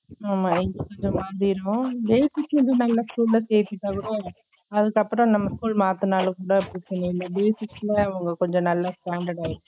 ஆமா இங்க கொஞ்சம் மாறிரும் டெல்பிஷ்ஆ இது நல்ல school ல சேத்துட்டா கூட அதுக்கப்பறம் நம்ம school மாத்துனாலும கூட பிரச்சன இல்ல basic ல அவங்க கொஞ்சம் நல்ல standard ஆயிரும்